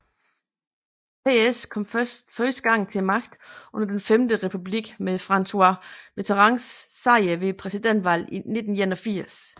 PS kom første gang til magten under Den Femte Republik med François Mitterrands sejr ved præsidentvalget i 1981